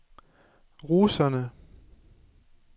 russerne